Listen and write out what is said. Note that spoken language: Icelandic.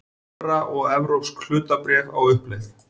Evra og evrópsk hlutabréf á uppleið